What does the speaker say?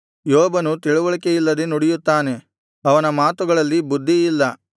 ಯೋಬನು ತಿಳಿವಳಿಕೆಯಿಲ್ಲದೆ ನುಡಿಯುತ್ತಾನೆ ಅವನ ಮಾತುಗಳಲ್ಲಿ ಬುದ್ಧಿಯಿಲ್ಲ